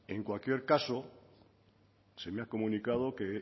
en cualquier caso se me ha comunicado que